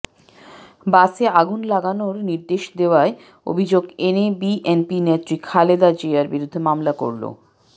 বাসে আগুন লাগানোর নির্দেশ দেওয়ার অভিযোগ এনে বিএনপি নেত্রী খালেদা জিয়ার বিরুদ্ধে মামলা করল